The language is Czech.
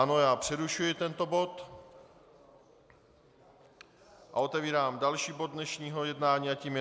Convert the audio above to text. Ano, já přerušuji tento bod a otevírám další bod dnešního jednání a tím je